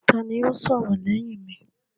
Ta ni yóò sọ̀rọ̀ lẹ́yìn mi?